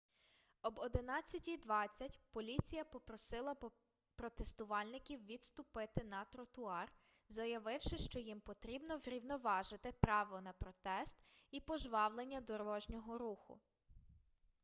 об 11:20 поліція попросила протестувальників відступити на тротуар заявивши що їм потрібно врівноважити право на протест і пожвавлення дорожнього руху